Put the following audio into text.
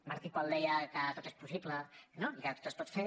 martí i pol deia que tot és possible no i que tot es pot fer